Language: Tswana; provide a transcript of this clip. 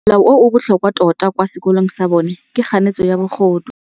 Molao o o botlhokwa tota kwa sekolong sa bone ke kganetsô ya bogodu.